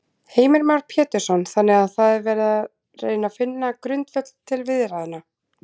Heimir Már Pétursson: Þannig að það er verið að reyna finna grundvöll til viðræðna?